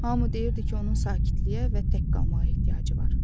Hamı deyirdi ki, onun sakitliyə və tək qalmağa ehtiyacı var.